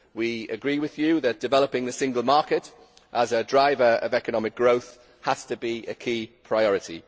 We agree with you that developing the single market as a drive of economic growth has to be a key priority.